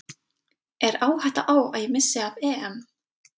Er áhætta á að ég missi af EM?